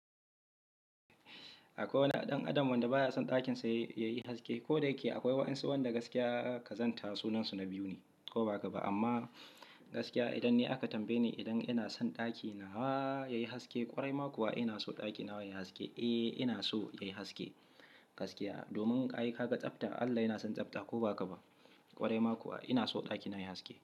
A kwai wani ɗan adam wanda ba ya son ɗakin sa ya yi haske. Ko da yake akwai wa'ansu wanda gaskiya kazanta sunansu na biyu ne ko ba ka ba, amma gaskiya idan ni aka tambaye ni idan ina son ɗaki na wa yayi haske ƙwarai ma kuwa ina so ɗaki nawa yayi haske. Eh ina so yayi haske gaskiya. Domin ai ka ga tsafta Allah yana son tsafta ko ba ka ba. Kwarai ma kuwa ina so ɗaki na yayi haske.